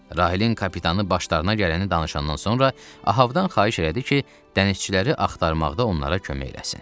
Rahilin kapitanı başlarına gələni danışandan sonra Ahabdan xahiş elədi ki, dənizçiləri axtarmaqda onlara kömək eləsin.